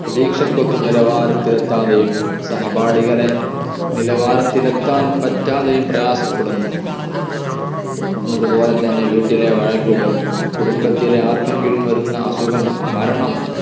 പ്രതീക്ഷക്കൊത്ത് നിലവാരത്തിൽ എത്താതെയും സഹപാഠികളെ നിലാവാരത്തിൽ എത്താൻ പറ്റാതെയും പ്രയാസപ്പെടുന്നു അതുപോലെ തന്നെ വീട്ടിലെ വഴക്കുകൾ കുടുംബത്തിൽ ആർകെങ്കിലും വരുന്ന അസുഖം മരണം